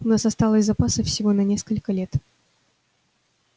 у нас осталось запасов всего на несколько лет